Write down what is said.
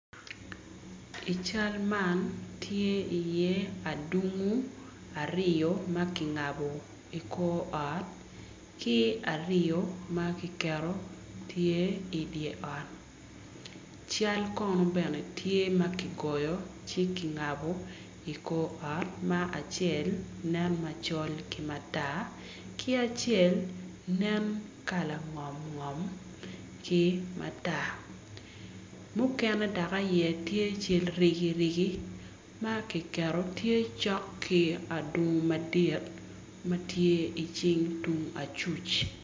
I cal man tye iye adunngu aryo ma kingabo i kor ot ki aryo ma kiketo tye i dye ot cal bene tye ma kigoyo ma kingabbo i kor ot acel nen macol ki matar ki acel nen kala ngom ngom ki matar mukene dok aye tye cal rigirigi ma kiketo tye cok ki adungu madit ma tye i cing tung acuc.